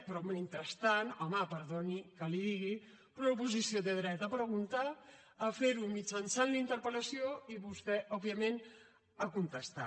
però mentrestant home perdoni que li digui però l’oposició té dret a preguntar a fer ho mitjançant la interpel·lació i vostè òbviament a contestar